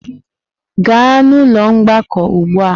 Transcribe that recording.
Gaa n'ụlọ mgbakọ ugbu a!